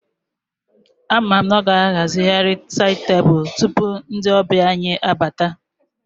Ama m na ọ ga-ahazigharị sáyid tebụlu tupu ndị ọbịa anyị abata